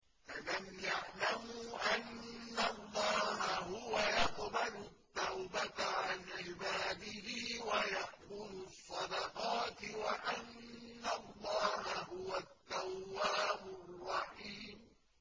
أَلَمْ يَعْلَمُوا أَنَّ اللَّهَ هُوَ يَقْبَلُ التَّوْبَةَ عَنْ عِبَادِهِ وَيَأْخُذُ الصَّدَقَاتِ وَأَنَّ اللَّهَ هُوَ التَّوَّابُ الرَّحِيمُ